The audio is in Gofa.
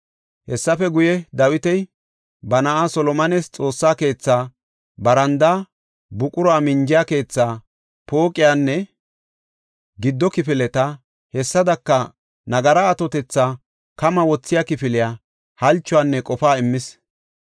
Hessafe guye, Dawiti ba na7aa Solomones Xoossa keethaa, barandaa, buqura minjiya keethaa, pooqiyanne giddo kifileta, hessadaka nagara atotetha kama wothiya kifiliya halchuwanne qofaa immis.